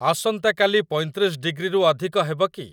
ଆସନ୍ତାକାଲି ପଇଁତିରିଶ ଡିଗ୍ରୀରୁ ଅଧିକ ହେବ କି ?